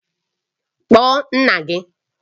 Kpọọ nna gị!